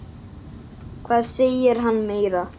Hvað segir hann meira?